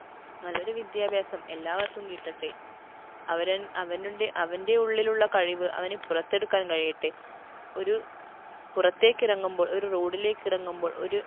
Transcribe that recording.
നല്ലൊരു വിദ്യാഭ്യാസം എല്ലാവര്‍ക്കും കിട്ടട്ടെ അവരൻ അവനുണ്ടെ അവൻറെ ഉള്ളിലുള്ള കഴിവ് അവന് പുറത്തെടുക്കാൻ കഴിയട്ടെ ഒരു പുറത്തേക്കിറങ്ങുമ്പോൾ ഒരു road ലേക്കിറങ്ങുമ്പോൾ ഒരു